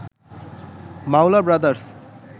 Maula brothers